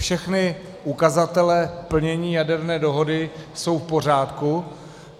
Všechny ukazatele plnění jaderné dohody jsou v pořádku.